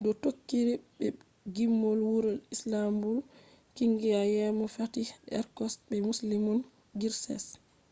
do tokkiri be gimol wuro istanbul kungiya yeemo fatih erkoç be müslüm gürses